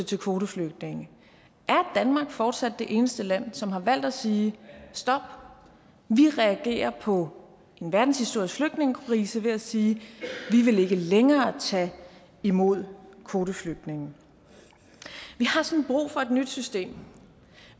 til kvoteflygtninge er danmark fortsat det eneste land som har valgt at sige stop vi reagerer på en verdenshistorisk flygtningekrise ved at sige vi vil ikke længere tage imod kvoteflygtninge vi har sådan brug for et nyt system